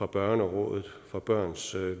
børnerådet og børns